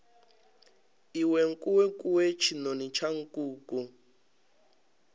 iwe nkukuwe tshinoni tsha nkuku